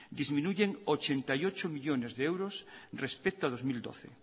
disminuyen ochenta y ocho millónes de euros respecto a dos mil doce